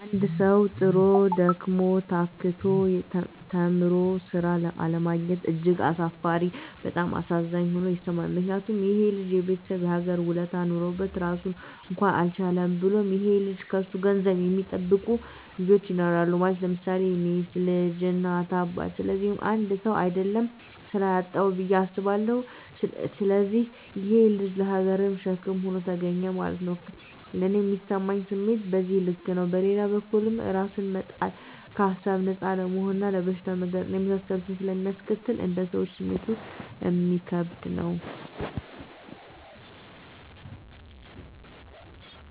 አንድ ሠዉ, ጥሮ: ደክሞ :ታክቶ ተምሮ ስራ አለማግኘት እጅግ አሳፋሪ እና በጣም አሳዛኝ ሆኖ ይሠማኛል ምክንያቱም :ይሄ ልጅ የቤተሠብ እና የሀገር ውለታ ኖሮበት ራሱን እንኳን አልቻለም። ብሎም ይሄ ልጅ ከሱ ገንዘብ የሚጠብቁ ልጆች ይኖራሉ ማለት _ለምሳሌ ሚስት: ልጅ: እናት :አባት ስለዚህ 1ሰው: አደለም ስራ ያጣዉ ብየ አስባለሁ። ስለዚህ ይሄ_ ልጅ ለሀገርም ሸክም ሆኖ ተገኘ ማለት ነዉ። ለኔ ሚሰማኝ ስሜት በዚህ ልክ ነው። በሌላ በኩልም እራስን መጣል ከሀሳብ ነፃ አለመሆንና ለበሽታ መጋለጥ እና የመሳሰሉትን ስለሚያስከትል: እንደ ሰወኛ ስሜቱ እሚከብድ ነው